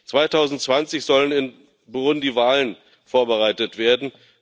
2020 sollen in Burundi Wahlen vorbereitet werden.